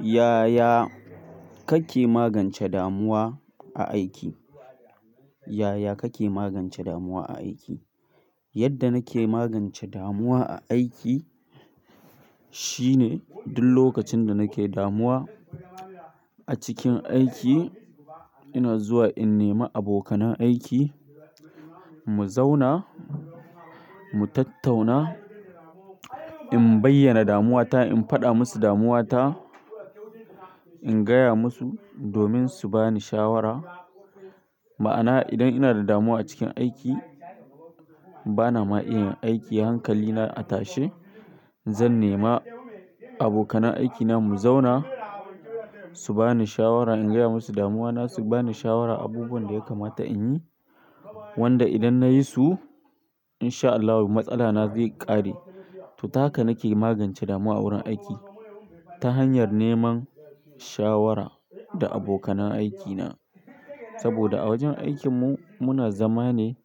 Ya ya kake magance damuwa a aiki? Ya ya kake magance damuwa a aiki? Yadda nake magance damuwa a aiki, shi ne duk lokacin da nake damuwa a cikin aiki, ina zuwa in nema abokanan aiki, mu zauna, mu tattauna, in bayyana damuwata, in faɗa musu damuwata, in gaya musu domin su bani shawara. Ma'ana, idan ina da damuwa a cikin aiki, bana ma iya yin aiki hankali na a tashe, zan nema abokanan aikina mu zauna su bani shawara. In gaya musu damuwana su bani shawara abubuwan da ya kamata in yi, wanda idan nayi su inshaAllahu matsalana zai ƙare. To, ta haka nake magance damuwa a wurin aiki ta hanyar neman shawara da abokan aikina. Saboda a wajen aikinmu muna zama ne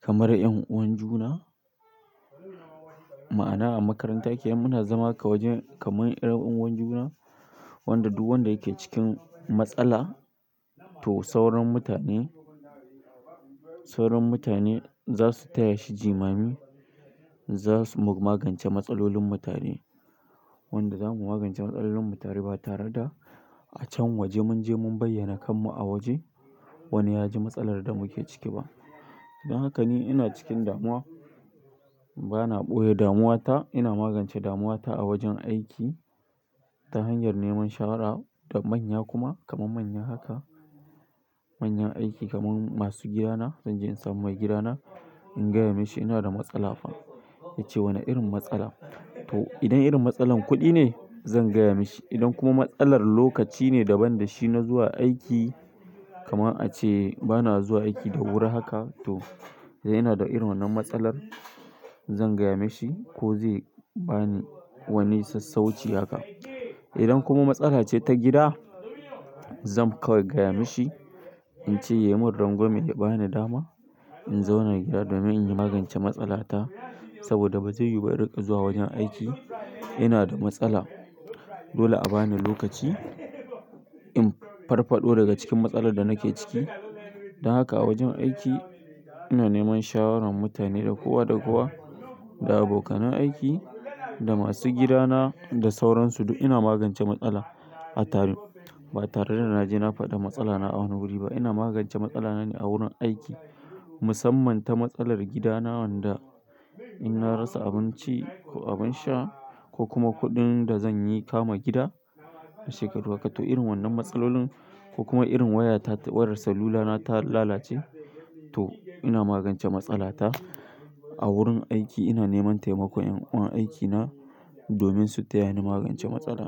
kamar 'yan uwan juna. Ma'ana a makarantar da muke muna zama kamar 'yan uwan juna, wanda duk wanda yake cikin matsala to sauran mutane, sauran mutane za su taya shi jimami. Za su magance matsalolin mutane, wanda za mu magance matsalolin mu tare ba tare da a can waje mun je mun bayyana kan mu a waje. Wani ya ji matsalar da muke ciki ba. Dan haka ni ina cikin damuwa, bana ɓoye damuwata. Ina magance damuwata a wajen aiki ta hanyar neman shawara da manya kuma kaman manya haka, manyan aiki kaman masu gidana. Zan je in samu mai gidana, in gaya mashi ina da matsala. Ya ce wane irin matsala? To idan irin matsalar kuɗi ne, zan gaya mashi. Idan kuma matsalar lokaci ne daban da shi na zuwa aiki, kamar a ce bana zuwa aiki da wuri haka. To, ina da irin wannan matsalar zan gaya mashi ko zai bani wani sassauci haka. Idan kuma matsala ce ta gida, zan kawai gaya mashi, in ce ya yi min rangwame ya ba ni dama in zauna gida domin in magance matsalata. Saboda ba zai yi ba da riƙa zuwa wajen aiki. Ina da matsala. Dole a bani lokaci in farfaɗo daga cikin matsalar da nake ciki. Dan haka a wajen aiki ina neman shawaran mutane da kowa da kowa, da abokanan aiki, da masu gidana, da sauran su duk ina magance matsala a taro. Ba tare da na je na faɗa matsala na a wani wuri ba. Ina magance matsala na ne a wurin aiki. Musamman ta matsalar gidana wanda in na rasa abinci ko abin sha ko kuma kuɗin da zan kama gida shekaru haka. To irin wannan matsalolin ko kuma irin wayata wayar salulana ta lalace. To ina magance matsala ta a wurin aiki. Ina neman taimakon 'yan uwan aikina domin su taya ni magance matsala.